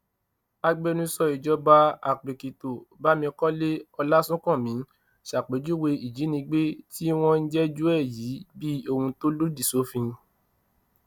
agbẹnusọ ìjọba àpèkìtò bámikọlé ọlásùnkànmí ṣàpèjúwe ìjínigbé tí wọ́n ń jẹ́jọ́ ẹ̀ yìí bíi ohun tó lòdì sófin